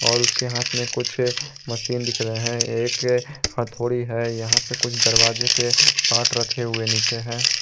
और उसके हाथ में कुछ मशीन दिख रहे है एक हथौड़ी है यहां पे कुछ दरवाजे के पार्ट रखे हुए नीचे हैं।